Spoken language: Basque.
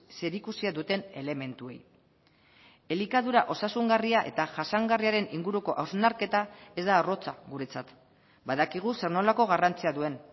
zerikusia duten elementuei elikadura osasungarria eta jasangarriaren inguruko hausnarketa ez da arrotza guretzat badakigu zer nolako garrantzia duen